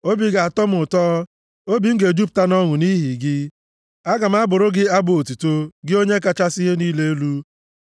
Obi ga-atọ m ụtọ; obi m ga-ejupụta nʼọṅụ nʼihi gị, aga m abụrụ gị abụ otuto, gị Onye kachasị ihe niile elu.